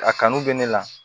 A kanu bɛ ne la